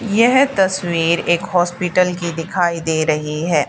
यह तस्वीर एक हॉस्पिटल की दिखाई दे रही है।